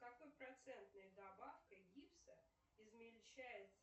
какой процентной добавкой гипса измельчается